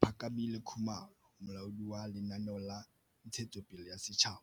Phakamile Khumalo, Molaodi wa Lenaneo la Ntshetsopele ya Setjhaba